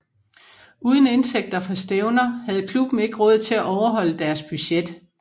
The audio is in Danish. Uden indtægter fra stævner havde klubben ikke råd til at overholde deres budget